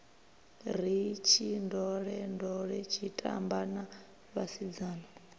ri tshindolendole tshitamba na vhasidzana